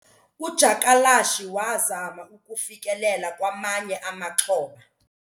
Udyakalashe wazama ukufikelela kwamanye amaxhoba.